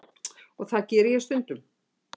Og það geri ég stundum.